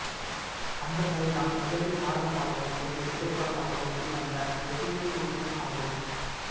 அந்த கதை தான் முதலில் நாடகமாகவும் பின்பு திரைப்படமாகவும் வெளிவந்த எ பியு குட் மென் ஆகும்